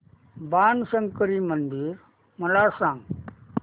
बाणशंकरी मंदिर मला सांग